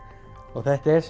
og þetta er